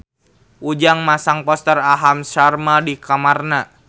Ujang masang poster Aham Sharma di kamarna